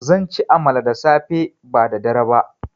Zanci amala da safe ba da dare ba